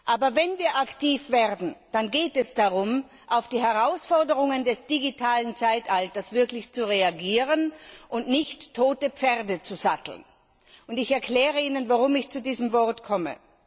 Aber wenn wir aktiv werden, dann geht es darum, auf die Herausforderungen des digitalen Zeitalters zu reagieren und nicht tote Pferde zu satteln. Ich erkläre Ihnen, warum ich zu diesem Bild komme.